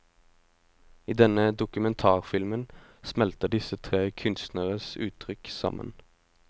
I denne dokumentarfilmen smelter disse tre kunstnernes uttrykk sammen.